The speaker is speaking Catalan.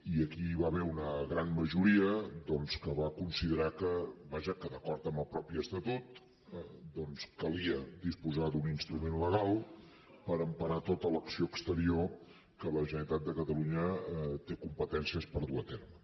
i aquí hi va haver una gran majoria doncs que va considerar que vaja que d’acord amb el propi estatut calia disposar d’un instrument legal per emparar tota l’acció exterior que la generalitat de catalunya té competències per dur a terme